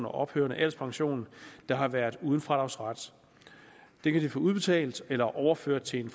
og ophørende alderspension der har været uden fradragsret udbetalt eller overført til en